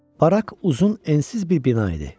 Barak uzun ensiz bir bina idi.